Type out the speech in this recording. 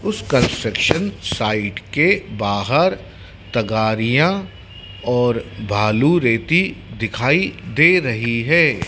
उस construction site के बाहर तगाड़ियाँ और भालू रेती दिखाई दे रही है।